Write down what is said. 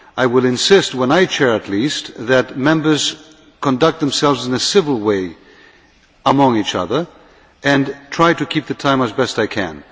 I will insist, when I chair at least, that Members conduct themselves in a civil way with each other, and I will try to keep the time as best I can.